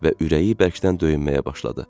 və ürəyi bərkdən döyünməyə başladı.